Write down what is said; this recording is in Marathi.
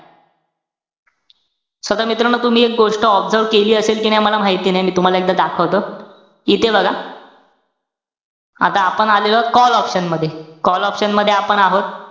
So आता मित्रांनो, तुम्ही एक गोष्ट observe केली असेल कि नाई मला माहिती नाई. मी तुम्हाला एकदा दाखवतो. इथे बघा, आता आपण आलेलो आहोत, call option मध्ये. call option मध्ये आपण आहोत.